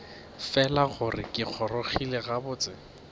fela gore ke gorogile gabotse